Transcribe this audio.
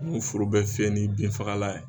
N'u foro bɛɛ fiyɛ ni binfagalan ye